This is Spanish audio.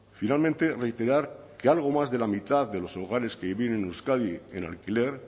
finalmente reiterar que algo más de la mitad de los hogares que viven en euskadi en alquiler